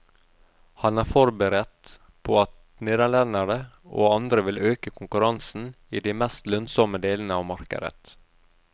Han er forberedt på at nederlendere og andre vil øke konkurransen i de mest lønnsomme delene av markedet.